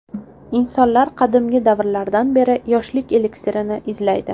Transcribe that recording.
Insonlar qadimgi davrlardan beri yoshlik eliksirini izlaydi.